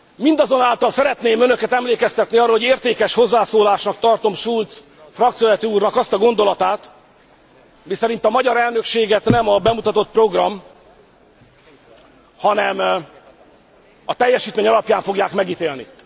Mindazonáltal szeretném önöket emlékeztetni arra, hogy értékes hozzászólásnak tartom Schulz frakcióvezető úrnak azt a gondolatát, miszerint a magyar elnökséget nem a bemutatott program, hanem a teljesítmény alapján fogják megítélni.